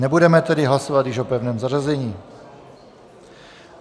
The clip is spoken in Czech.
Nebudeme tedy hlasovat již o pevném zařazení.